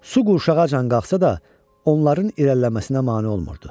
Su qurşağacan qalxsa da, onların irəliləməsinə mane olmurdu.